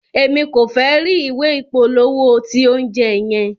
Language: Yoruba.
Emi ko fẹ ri ìwé ìpolówó ti oúnjẹ yẹn.